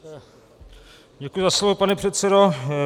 Děkuji za slovo, pane předsedo.